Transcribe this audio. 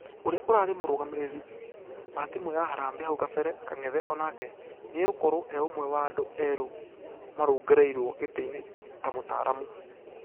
Ũria ũrare mũrugamĩrĩri wa timũ ya harambee hau kabere kang'ethe onakĩ nĩagũkorwo eũmwe wa andũ erũ marũngererwo gĩtĩ-inĩ ta mũtaaramu......